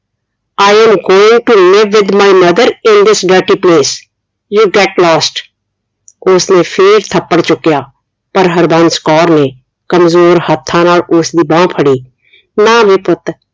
I am going to live with my mother in this dirty place you get lost ਉਸ ਨੇ ਫੇਰ ਥੱਪੜ ਚੁਕਿਆ ਪਰ ਹਰਬੰਸ ਕੌਰ ਨੇ ਕਮਜ਼ੋਰ ਹੱਥਾਂ ਨਾਲ ਉਸਦੀ ਬਾਂਹ ਫੜੀ ਨਾ ਵੇ ਪੁੱਤ